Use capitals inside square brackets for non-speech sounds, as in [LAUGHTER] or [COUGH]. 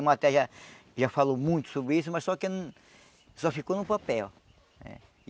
O [UNINTELLIGIBLE] já falou muito sobre isso, mas só que só ficou no papel.